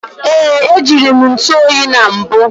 Ee, ejire m ntụ oyi na mbụ